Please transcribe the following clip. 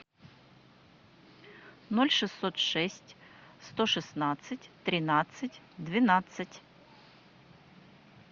ноль шестьсот шесть сто шестнадцать тринадцать двенадцать